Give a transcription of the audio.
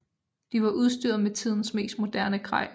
De var udstyret med tidens mest moderne grej